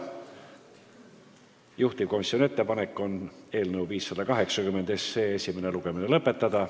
Juhtivkomisjoni ettepanek on eelnõu 580 esimene lugemine lõpetada.